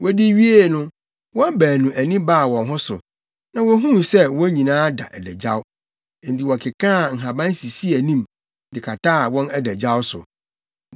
Wodi wiee no, wɔn baanu ani baa wɔn ho so, na wohuu sɛ wɔn nyinaa da adagyaw. Enti wɔkekaa nhaban sisii anim, de kataa wɔn adagyaw so.